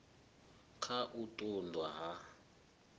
kha u ṱun ḓwa ha